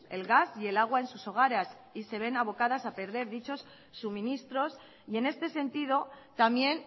el gas y el agua en sus hogares y se ven abocados a perder dichos suministros y en este sentido también